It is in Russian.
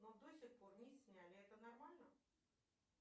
но до сих пор не сняли это нормально